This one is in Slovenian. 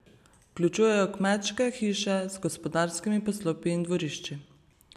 Vključujejo kmečke hiše z gospodarskimi poslopji in dvorišči.